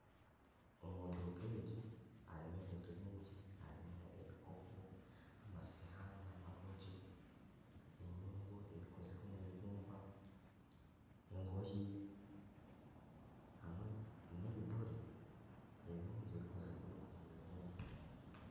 Omu duuka egi harimu ebintu bingi harimu ebikopo amasuwaani amarungi, enyungu ezikozirwe omu ibumba, engoye hamwe n'ebidore ebirungi ebikozirwe omu ibumba